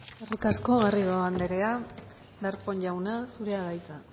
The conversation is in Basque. eskerrik asko garrido anderea darpón jauna zurea da hitza